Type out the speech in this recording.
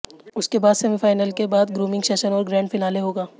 उसके बाद सेमीफाइनल के बाद ग्रूमिंग सेशन और ग्रैंड फिनाले होगा